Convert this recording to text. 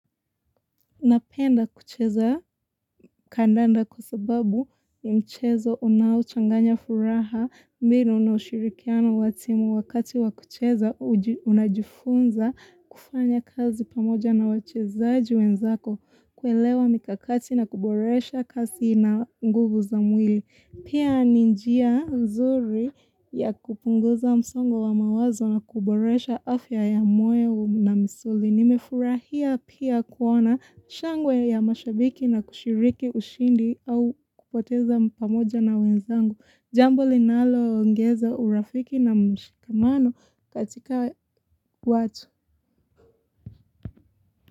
Napenda kucheza kandanda kwa sababu ni mchezo unaochanganya furaha mbiro na ushirikiano watimu wakati wakucheza unajifunza kufanya kazi pamoja na wachezaji wenzako kuelewa mikakati na kuboresha kasi na nguvu za mwili. Pia ninjia nzuri ya kupunguza msongo wa mawazo na kuboresha afya ya moyo na misuli. Nimefurahia pia kuona shangwe ya mashabiki na kushiriki ushindi au kupoteza pamoja na wenzangu. Jambo linaloongeza urafiki na mshikamano katika watu.